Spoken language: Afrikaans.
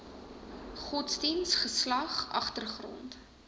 godsdiens geslag agtergrond